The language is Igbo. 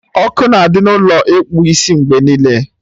Ọkụ na-adị n'Ụlọ ịkpụ isi mgbe niile